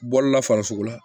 Bɔlila farisoko la